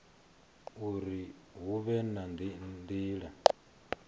uri hu vhe na nila